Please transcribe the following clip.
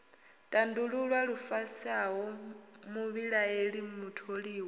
tandululwa lu fushaho muvhilaeli mutholiwa